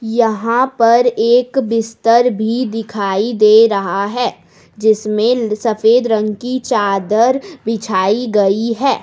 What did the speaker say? यहाँ पर एक बिस्तर भी दिखाई दे रहा है जिसमें सफ़ेद रंग की चादर बिछाई गई है।